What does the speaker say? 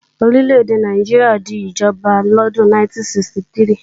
Orí lédè Nàìjíríà di ìjọba lọ́dún 1963